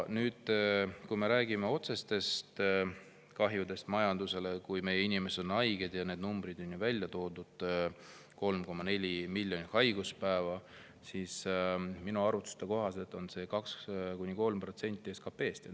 Kui me räägime otsesest kahjust majandusele, kui meie inimesed on haiged – need numbrid on välja toodud, 3,4 miljonit haiguspäeva –, siis minu arvutuste kohaselt on see 2–3% SKP-st.